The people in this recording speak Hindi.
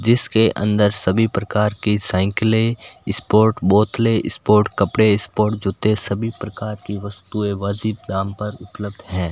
जिसके अंदर सभी प्रकार की साइकिले स्पोर्ट बोतले स्पोर्ट कपड़े स्पोर्ट जूते सभी प्रकार की वस्तुएं वाजिब दाम पर उपलब्ध है।